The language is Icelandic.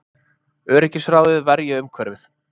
Öryggisráðið verji umhverfið